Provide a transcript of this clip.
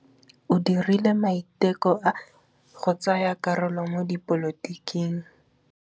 O dirile maitekô a go tsaya karolo mo dipolotiking.